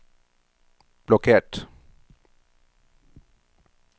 blokkert